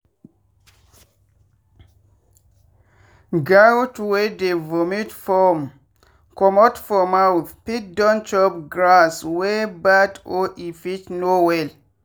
goat wey dey vomit foam comot for mouth fit don chop grass wey bad or e fit no well.